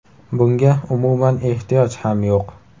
Bunga umuman ehtiyoj ham yo‘q.